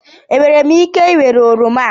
Enwere m ike ịwere oroma a?